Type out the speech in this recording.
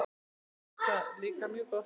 Berti það líka mjög gott.